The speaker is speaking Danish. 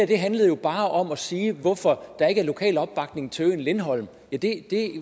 der handlede jo bare om at sige hvorfor der ikke er lokal opbakning til øen lindholm ja det